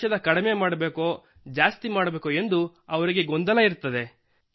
ಔಷಧ ಕಡಿಮೆ ಮಾಡಬೇಕೋ ಜಾಸ್ತಿ ಮಾಡಬೇಕೋ ಎಂದು ಅವರಿಗೆ ಗೊಂದಲವಿರುತ್ತದೆ